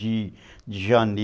de, de janeiro